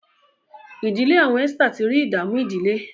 ìdílé awọn Esther tí rí ìdààmú ìdílé.